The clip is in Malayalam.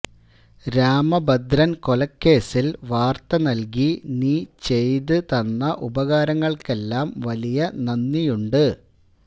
രാമഭദ്രൻ കൊലക്കേസിൽ വാർത്ത നൽകി നീ ചെയ്ത് തന്ന ഉപകാരങ്ങൾക്കെല്ലാം വലിയ നന്ദിയുണ്ട്